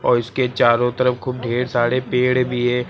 और इसके चारों तरफ खूब ढेर सारे पेड़ भी है।